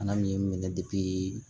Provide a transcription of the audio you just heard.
Bana min minɛ